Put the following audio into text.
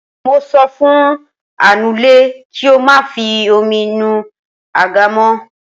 Mo sọ fún anule kí ó má fi omi nu àga mó.